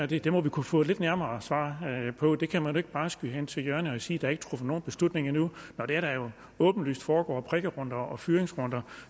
det det må vi kunne få lidt nærmere svar på det kan man ikke bare skyde til hjørne og sige der er truffet nogen beslutning endnu når der jo åbenlyst foregår prikkerunder og fyringsrunder